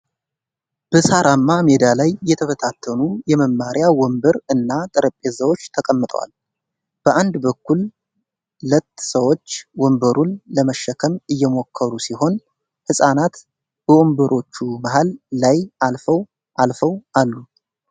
በሳራማ ሜዳ ላይ የተበታተኑ የመማሪያ ወንበር እና ጠረጴዛዎች ተቀምጠዋል። በአንድ በኩል ለት ሰዎች ወንበሩን ለመሸከም እየሞከሩ ሲሆን ህጻናት በወንበሮቹ መሃል ላይ አልፈው አልፈው አሉ።